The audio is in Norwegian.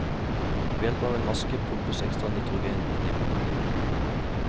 Ved hjelp av en maske pumpes ekstra nitrogen inn i blodet.